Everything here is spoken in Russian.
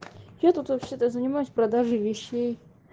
я тут вообще то занимаюсь продажей вещей